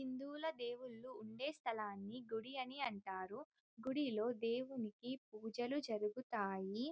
హిందువుల దేవుళ్ళు ఉండే స్థలాన్ని గుడి అని అంటారు. గుడిలో దేవునికి పూజలు జరుగుతాయి.